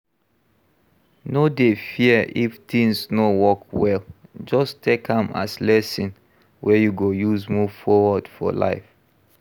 No dey fear if things no work well, just take am as lesson wey you go use move forward for life